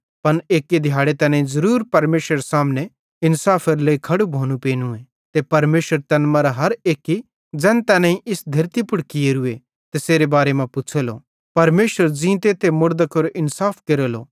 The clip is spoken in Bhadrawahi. पन एक्की दिहाड़े तैनेईं ज़रूर परमेशरेरे सामने इन्साफेरे लेइ खड़ू भोनू पेनूए ते परमेशर तैन मरां हर एक्की ज़ैन तैनेईं इस धेतली पुड़ कियोरू तैसेरे बारे मां पुछ़ेलो परमेशर ज़ींते ते मुड़दां केरो इन्साफ केरेलो